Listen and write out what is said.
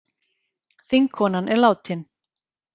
Þingkonan er látin